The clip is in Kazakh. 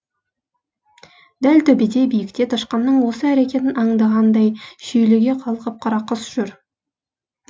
дәл төбеде биікте тышқанның осы әрекетін аңдығандай шүйліге қалқып қарақұс жүр